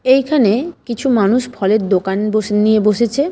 এখানে কিছু মানুষ ফলের দোকান বসে নিয়ে বসেছে।